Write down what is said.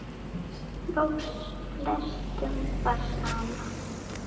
Loks flestum var sama.